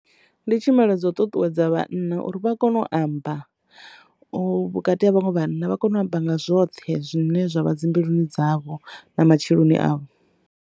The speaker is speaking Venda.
Ndi tshumelo dzo ṱuṱuwedza vhana uri vha kone u amba vhukati ha vhaṅwe vhana vha kone u amba nga zwoṱhe zwine zwavha dzi mbiluni dzavho nga matsheloni avho.